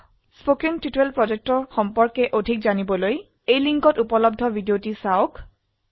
spoken tutorial প্ৰকল্প সম্পৰ্কে অধিক জানিবলৈ এই লিঙ্কে উপলব্ধ ভিডিওটি দেখক